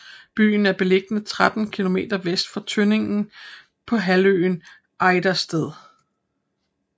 Byen er beliggende 13 kilometer vest for Tønning på halvøen Ejdersted